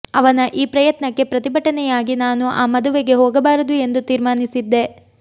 ಅವನ ಈ ಪ್ರಯತ್ನಕ್ಕೆ ಪ್ರತಿಭಟನೆಯಾಗಿ ನಾನು ಆ ಮದುವೆಗೆ ಹೋಗಬಾರದು ಎಂದು ತೀರ್ಮಾನಿಸಿದ್ದೆ